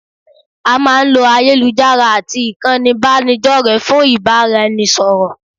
A máa ń lo ayélujára àti ìkànnì ìbánidọ́rẹ̀ẹ́ fún ìbáraẹnisọ̀rọ̀